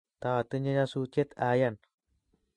Taatinye nyasutiet ayan